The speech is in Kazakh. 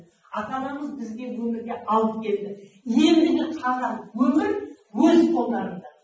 ата анамыз бізді өмірге алып келді ендігі қалған өмір өз қолдарыңда